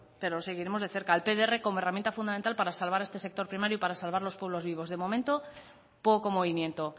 pero lo seguiremos de cerca el pdr como herramienta fundamental para salvar este sector primario y para salvar los pueblos vivos de momento poco movimiento